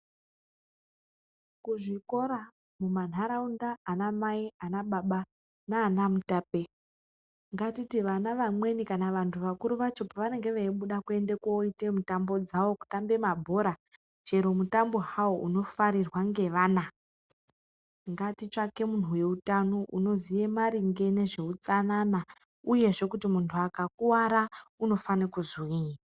Kuzvikora, kumantaraunda , anamai nana baba nanamutape ngatiti vana vamweni kana vantu vakuru vacho pavanenge veibuda koite mutambo dzavo kutamba mabhora chero mutambo hawo unofarirwa ngevana ngatitsvake munhu wezveutano unoziye maringe nezveutsanana uyezve munhu akakuwara unofanirwe kuzwii.